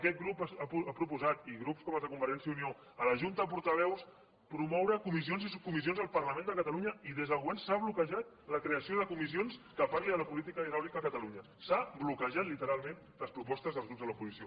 aquest grup ha proposat i grups com els de convergència i unió a la junta de portaveus promoure comissions i subcomissions al parlament de catalunya i des del govern s’ha bloquejat la creació de comissions que parlin de la política hidràulica a catalunya s’han bloquejat literalment les propostes dels grups de l’oposició